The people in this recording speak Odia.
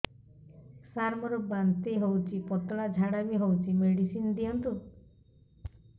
ସାର ମୋର ବାନ୍ତି ହଉଚି ପତଲା ଝାଡା ବି ହଉଚି ମେଡିସିନ ଦିଅନ୍ତୁ